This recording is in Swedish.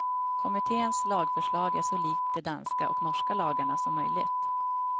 Kommittens lagförslag är så likt de danska och norska lagarna som möjligt.